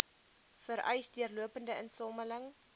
vereis deurlopende insameling